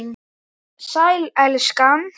Sæl, elskan.